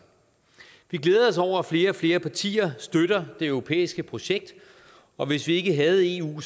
vi glæder os over at flere og flere partier støtter det europæiske projekt og hvis vi ikke havde eu